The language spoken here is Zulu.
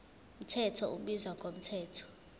mthetho ubizwa ngomthetho